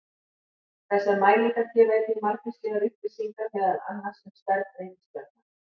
Þessar mælingar gefa einnig margvíslegar upplýsingar meðal annars um stærð reikistjarna.